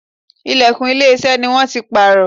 Ìlẹ̀kùn ilé iṣẹ́ ni wón ti pààrọ̀.